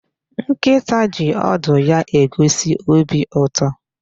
Nkịta ji ọdụ ya egosi obi ụtọ.